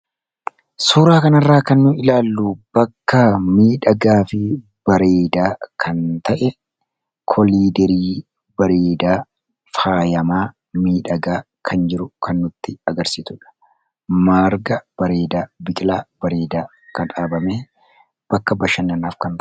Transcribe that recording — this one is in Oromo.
suuraa kanirraa kannu ilaallu bakka miidhagaa fi bareedaa kan ta'e koliderii bareedaa faayamaa miidhagaa kan jiru kan nutti agarsiitudha maarga bareedaa biqilaa bareedaa kan dhaabame bakka b5f